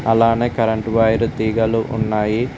అలానే current wire తీగలు ఉన్నాయి.